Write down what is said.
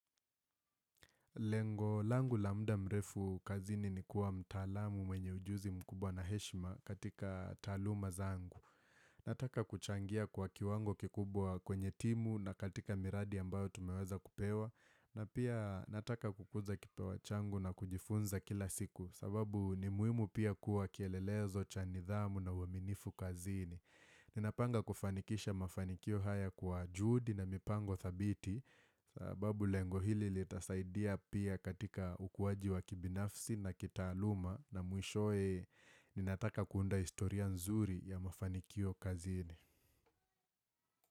Lengo langu la muda mrefu kazini ni kuwa mtaalamu mwenye ujuzi mkubwa na heshima katika taluma zangu. Nataka kuchangia kwa kiwango kikubwa kwenye timu na katika miradi ambayo tumeweza kupewa. Na pia nataka kukuza kipawa changu na kujifunza kila siku sababu ni muhimu pia kuwa kielelezo cha nidhamu na uaminifu kazini. Ninapanga kufanikisha mafanikio haya kwa juhudi na mipango thabiti sababu lengo hili litasaidia pia katika ukuwaji wa kibinafsi na kitaaluma na mwishowe ninataka kuunda historia nzuri ya mafanikio kazini.